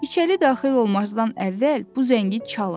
İçəri daxil olmazdan əvvəl bu zəngi çalın.